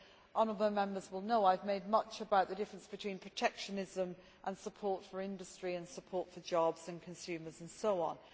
Honourable Members will know that I have made much about the difference between protectionism and support for industry, support for jobs and consumers and so on.